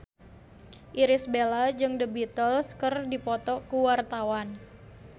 Irish Bella jeung The Beatles keur dipoto ku wartawan